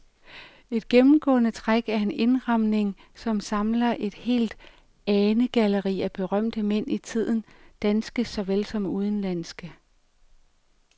Et gennemgående træk er en indramning, som samler et helt anegalleri af berømte mænd i tiden, danske såvel som udenlandske.